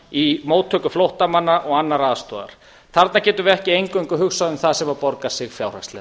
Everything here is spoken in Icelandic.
í móttöku flóttamanna og annarrar aðstoðar þarna getum við ekki eingöngu hugsað um það sem borgar sig fjárhagslega